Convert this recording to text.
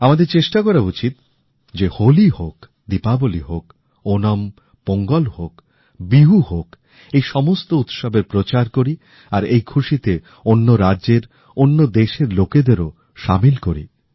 আমাদের চেষ্টা করা উচিৎ যে হোলী হোক দীপাবলি হোক ওণম হোক পোঙ্গল হোক বিহু হোক এই সমস্ত উৎসবের প্রচার করি আর এই খুশীতে অন্য রাজ্যের অন্য দেশের লোকেদেরও সামিল করি